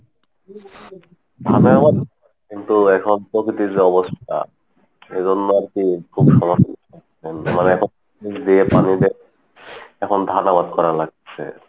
কিন্তু এখন প্রকৃতির যে অবস্থা ওই জন্য আরকি খুব সমস্যা হচ্ছে এখন মানে বীজ দিয়ে পানি দিয়ে এখন ধান আবাদ করা লাগতিসে,